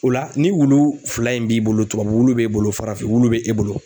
O la ni wulu fila in b'i bolo tubabu wulu b'e bolo farafin wulu be e bolo